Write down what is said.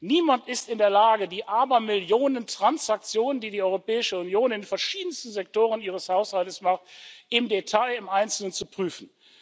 Niemand ist in der Lage, die Abermillionen Transaktionen, die die Europäische Union in verschiedensten Sektoren ihres Haushaltes macht, im Detail im Einzelnen zu prüfen.